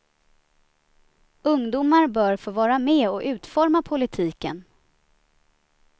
Ungdomar bör få vara med och utforma politiken.